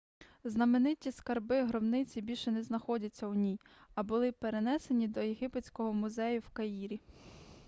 знамениті скарби гробниці більше не знаходяться у ній а були перенесені до єгипетського музею в каїрі